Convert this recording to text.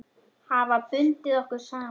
Hafa bundið okkur saman.